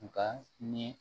Nka ni